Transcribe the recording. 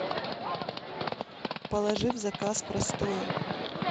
положи в заказ простое